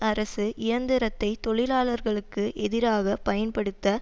அரசு இயந்திரத்தை தொழிலாளர்களுக்கு எதிராக பயன்படுத்த